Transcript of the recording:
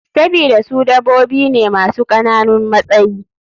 Sabida su dabobi ne masu kananun matsayi.